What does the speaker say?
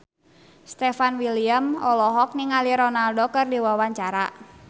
Stefan William olohok ningali Ronaldo keur diwawancara